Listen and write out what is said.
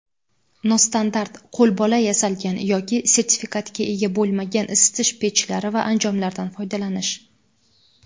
nostandart (qo‘lbola yasalgan) yoki sertifikatga ega bo‘lmagan isitish pechlari va anjomlaridan foydalanish;.